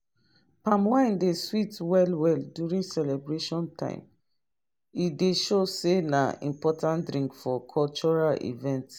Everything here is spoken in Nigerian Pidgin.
palm wine dey sweet well well during celebration time e dey show sey na important drink for cultural event